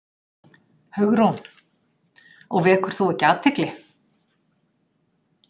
Hugrún: Og vekur þú ekki athygli?